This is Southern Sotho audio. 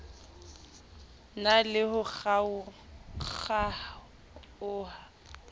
na le ho kgaokg aoha